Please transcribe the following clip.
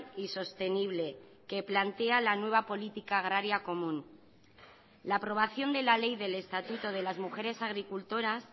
y sostenible que plantea la nueva política agraria común la aprobación de la ley del estatuto de las mujeres agricultoras